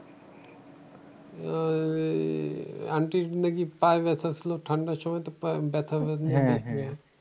aunty র নাকি পায়ে ব্যাথা ছিল? ঠান্ডার সময় তো পায়ে ব্যাথা বেদনা লাগে।